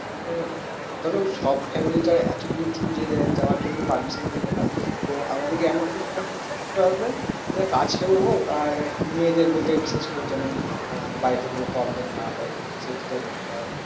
আহ ধরো সব family তো আর এতো দূর দূর যাওয়ার জন্য permission দেবে না। তো আমাদেরকে এমন কিছু জায়গা choose করতে হবে যেটা কাছেও হোক আর মেয়েদের বলতে গেলে বিশেষ করে যেন আহ বাড়িতে কোনো problem না হয় সে দিকটাও দেখতে হবে।